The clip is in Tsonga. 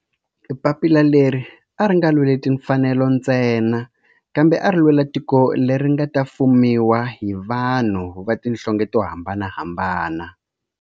Papila leri a ri nga lweli timfanelo ntsena kambe ari lwela tiko leri nga ta fumiwa hi vanhu va tihlonge to hambanahambana.